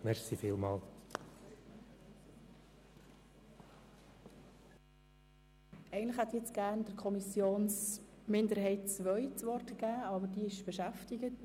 Eigentlich hätte ich gerne der Kommissionsminderheit II das Wort erteilt, aber diese scheint beschäftigt zu sein.